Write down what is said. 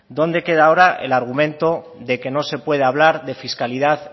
dónde queda ahora el argumento de que no se puede hablar de fiscalidad